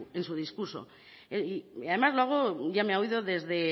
en su discurso además lo hago ya me ha oído desde